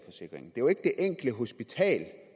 jo ikke det enkelte hospital